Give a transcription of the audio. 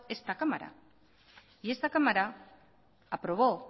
esta cámara y esta cámara aprobó